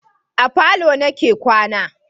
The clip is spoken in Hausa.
A falo ni ke kwana